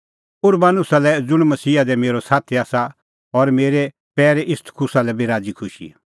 उरबानुसा लै ज़ुंण मसीहा दी म्हारअ साथी आसा और मेरै पैरै इस्तखुसा लै बी राज़ी खुशी